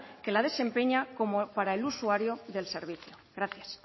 que lo desempeña como para el usuario del servicio gracias